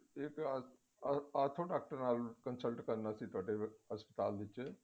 ਇਕ ਆਸ਼ੁ doctor ਨਾਲ consult ਕਰਨਾ ਸੀ ਤੁਹਾਡੇ ਹਸਪਤਾਲ ਵਿੱਚ